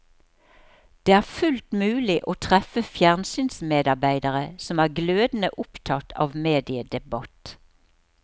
Det er fullt mulig å treffe fjernsynsmedarbeidere som er glødende opptatt av mediedebatt.